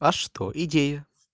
а что идея